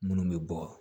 Munnu bɛ bɔ